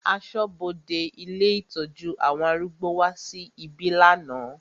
Aṣọ́bodè ilé ìtọ́jú àwọn arúgbó wá sí ibí lánàá.